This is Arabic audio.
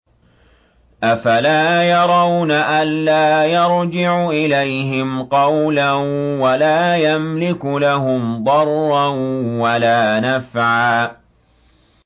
أَفَلَا يَرَوْنَ أَلَّا يَرْجِعُ إِلَيْهِمْ قَوْلًا وَلَا يَمْلِكُ لَهُمْ ضَرًّا وَلَا نَفْعًا